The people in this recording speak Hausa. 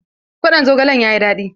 Kwaɗon zogalen yayi daɗi.